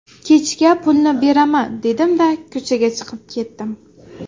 Kechga pulni beraman dedim-da, ko‘chaga chiqib ketdim.